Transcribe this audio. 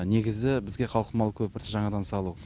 негізі бізге қалқымалы көпірді жаңадан салу